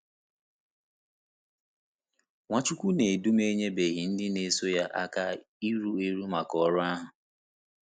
Nwachukwunedom enyebeghị ndị na-eso ya aka iru eru maka ọrụ ahụ.